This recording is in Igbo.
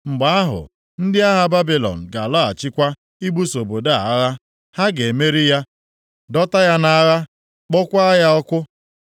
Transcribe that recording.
Mgbe ahụ, ndị agha Babilọn ga-alọghachikwa ibuso obodo a agha. Ha ga-emeri ya, dọta ya nʼagha, kpọọkwa ya ọkụ.’